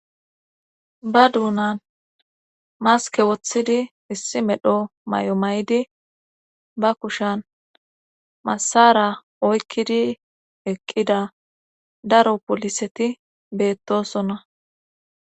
ba duunan maske woththidi issi medho may7o may7di ba kushan masara oykkidi eqqida daro poliseti beettosonna